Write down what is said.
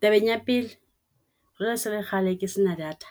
Tabeng ya pele jwale ese ele kgale ke sena data.